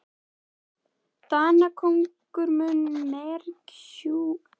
Danakonungur mun mergsjúga ykkur alla áður en yfir lýkur.